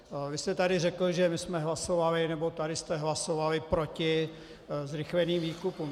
Vy jste tady řekl, že my jsme hlasovali, nebo tady jste hlasovali proti zrychleným výkupům.